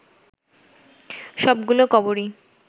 সবগুলো কবরই